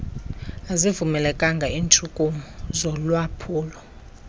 azivumelekanga iintshukumo zolwaphulo